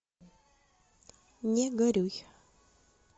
не горюй